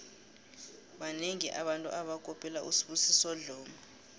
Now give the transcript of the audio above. banengi abantu abakopela usibusiso dlomo